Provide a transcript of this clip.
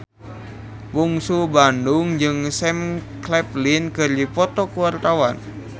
Bungsu Bandung jeung Sam Claflin keur dipoto ku wartawan